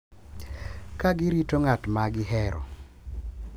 Ka girito ng’at ma gihero.